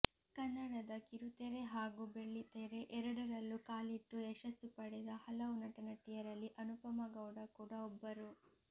ಕನ್ನಡದ ಕಿರುತೆರೆ ಹಾಗೂ ಬೆಳ್ಳಿತೆರೆ ಎರಡರಲ್ಲೂ ಕಾಲಿಟ್ಟು ಯಶಸ್ಸು ಪಡೆದ ಹಲವು ನಟನಟಿಯರಲ್ಲಿ ಅನುಪಮಾ ಗೌಡ ಕೂಡ ಒಬ್ಬರು